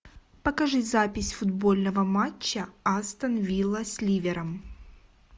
покажи запись футбольного матча астон вилла с ливером